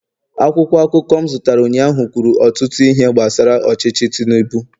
akwụkwọ akụkọ m zụtara ụnyaahụ kwuru ọtụtụ ihe gbasara ọchịchị tinubu